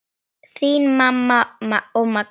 Þín mamma og Magnús.